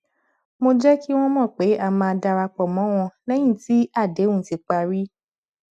mo jẹ kí wọn mọ pé a máa darapọ mọ wọn lẹyìn tí àdéhùn ti parí